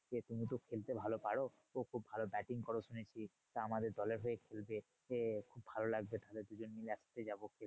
তুমি তো খেলতে ভালো পারো খুব ভালো batting করো শুনেছি। তা আমাদের দলের হয়ে খেলবে এ খুব ভালো লাগবে তাহলে দুজন মিলে একসাথে যাবো।